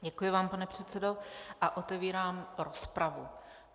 Děkuji vám, pane předsedo, a otevírám rozpravu.